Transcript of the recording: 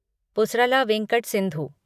Pusarla Venkata Sindhu